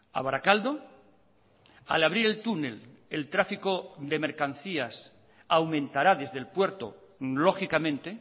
a barakaldo al abrir el túnel el tráfico de mercancías aumentará desde el puerto lógicamente